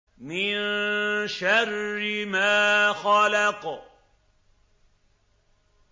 مِن شَرِّ مَا خَلَقَ